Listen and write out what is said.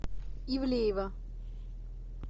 ивлеева